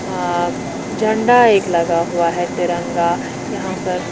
अ झंडा एक लगा हुआ है तिरंगा यहां पर--